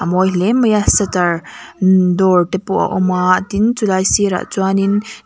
mawi hle mai a setter door te pawh a awm a tin chulai sirah chuan in--